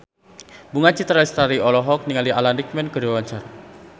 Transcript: Bunga Citra Lestari olohok ningali Alan Rickman keur diwawancara